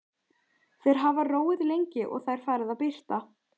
Þeir hafa róið lengi og Það er farið að birta.